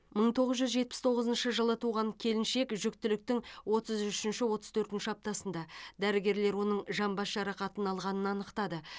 мың тоғыз жүз жетпіс тоғызыншы жылы туған келіншек жүктіліктің отыз үшінші отыз төртінші аптасында дәрігерлер оның жамбас жарақатын алғанын анықтады